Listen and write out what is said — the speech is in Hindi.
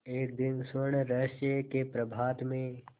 एक दिन स्वर्णरहस्य के प्रभात में